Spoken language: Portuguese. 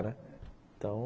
Então